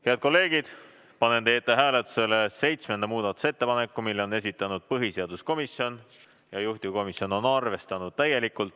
Head kolleegid, panen teie ette hääletusele seitsmenda muudatusettepaneku, mille on esitanud põhiseaduskomisjon, juhtivkomisjon on seda arvestanud täielikult.